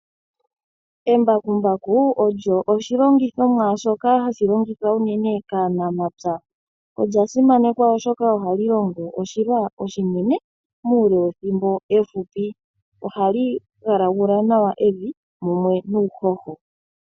Embakumbaku olyo oshilongithomwa shoka hashi longithwa uunene kaanamapya olya simanekwa oshoka ohali longo oshilwa oshinene muule wethimbo efupi ohali galagula nawa evi mumwe nuuhoho.